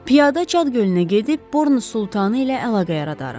Piyada Çad gölünə gedib, Bornu Sultanı ilə əlaqə yaradarıq.